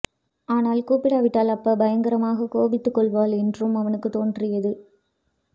ஆனால் கூப்பிடாவிட்டால் அப்பா பயங்கரமாக கோபித்துக் கொள்வாள் என்றும் அவனுக்குத் தோன்றியது